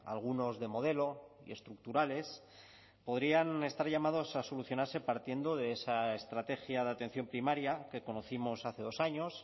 algunos de modelo y estructurales podrían estar llamados a solucionarse partiendo de esa estrategia de atención primaria que conocimos hace dos años